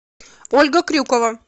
ольга крюкова